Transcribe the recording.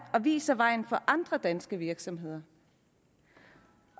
og viser vejen for andre danske virksomheder